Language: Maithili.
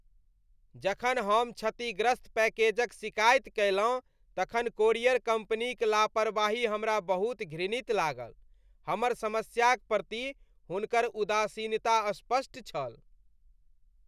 जखन हम क्षतिग्रस्त पैकेजक शिकायत कयलहुँ तखन कोरियर कम्पनीक लापरवाही हमरा बहुत घृणित लागल। हमर समस्याक प्रति हुनकर उदासीनता स्पष्ट छल।